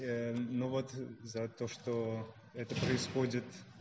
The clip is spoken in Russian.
ну вот за то что это происходит